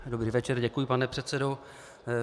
Dobrý večer, děkuji pane předsedo.